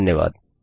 धन्यवाद